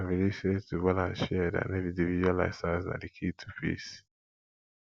i believe sey to balance shared and individual lifestyles na di key to peace